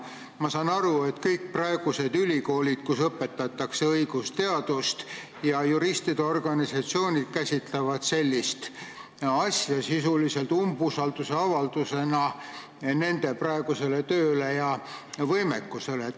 Ma saan aru, et kõik ülikoolid, kus praegu õpetatakse õigusteadust, ja juristide organisatsioonid käsitavad sellist asja sisuliselt umbusaldusavaldusena nende praegusele tööle ja võimekusele.